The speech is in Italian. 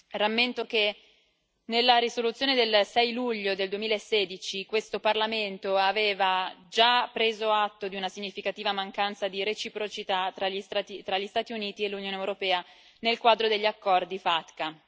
Rammento che, nella risoluzione del 6 luglio del 2016, questo Parlamento aveva già preso atto di una significativa mancanza di reciprocità tra gli Stati Uniti e l'Unione europea nel quadro degli accordi FATCA.